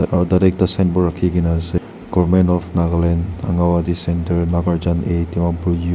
aru tate ekta signboard rakhikena ase government of Nagaland anganwadi centre nagarjan A dimapur .